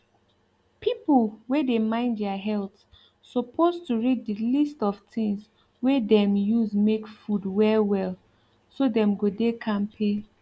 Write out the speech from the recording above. people wey dey mind their health suppose to read the list of things wey dem use make food well well so dem go dey kampe